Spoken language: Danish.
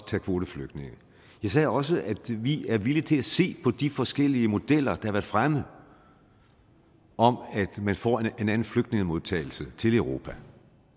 tage kvoteflygtninge jeg sagde også at vi er villige til at se på de forskellige modeller har været fremme om at man får en anden flygtningemodtagelse til europa